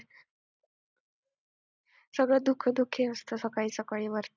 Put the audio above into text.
सगळं धुके धुके असतं सकाळी सकाळी वरती,